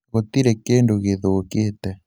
gũtirĩ kĩndũ gĩthũkĩte